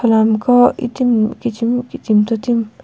kholami gho itimi kichimi kitim tomtimi.